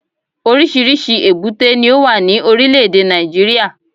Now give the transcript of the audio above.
Oríṣìíríṣìí èbúté ni ó wà ní Orílẹ̀dè Nàìjíríà